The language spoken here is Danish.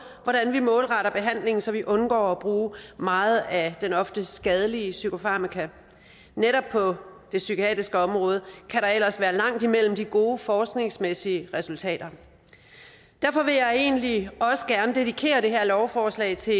hvordan vi målretter behandling så vi undgår at bruge meget af den ofte skadelige psykofarmaka netop på det psykiatriske område kan der ellers være langt imellem de gode forskningsmæssige resultater derfor vil jeg egentlig også gerne dedikere det her lovforslag til